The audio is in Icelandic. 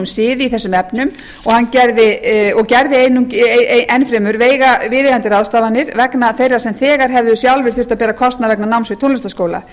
sið í þessum efnum og gerði enn fremur viðeigandi ráðstafanir vegna þeirra sem þegar hefðu sjálfir þurft að bera kostnað vegna náms í tónlistarskóla